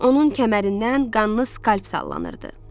Onun kəmərindən qanlı skalp sallanırdı.